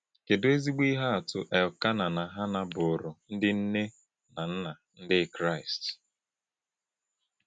Kedu ezigbo ihe atụ Elkanah na Hannạ bụụrụ ndị nne na nna Ndị Kraịst!